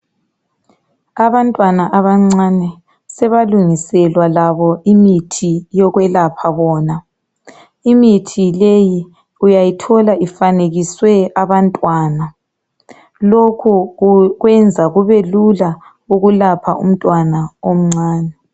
Abantwana abancane sebalungiselwa labo imithi yokwelapha bona. Imithi leyi uyayithola ifanekiswe abantwana. Lokho kwenza kubelula ukulapha umntwana omncane.